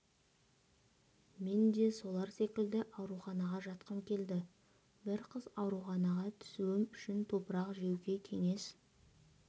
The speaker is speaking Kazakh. мен де солар секілді ауруханаға жатқым келді бір қыз ауруханаға түсуім үшін топырақ жеуге кеңес